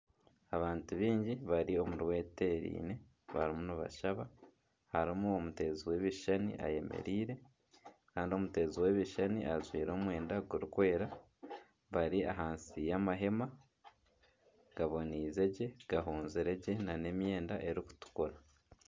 Abantu baingi bari omurwetereine. Barimu nibashaba. Harimu omuteezi w'ebishushani ayemereire kandi omuteezi w'ebishushani ajwaire omwenda gurikwera. Bari ahansi y'amahema gaboniize gye, gahunzire gye nana emyenda erikutukura.